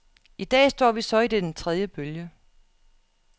I dag står vi så i den tredje bølge.